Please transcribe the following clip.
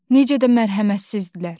Necə də mərhəmətsizdilər.